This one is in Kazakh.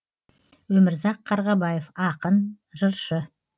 өмірзақ қарғабаев ақын жыршы